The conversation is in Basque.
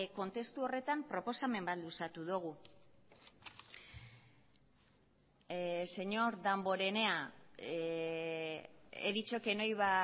kontestu horretan proposamen bat luzatu dugu señor damborenea he dicho que no iba